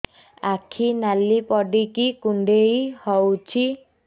ଆଖି ନାଲି ପଡିକି କୁଣ୍ଡେଇ ହଉଛି